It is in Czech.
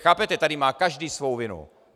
Chápete, tady má každý svou vinu.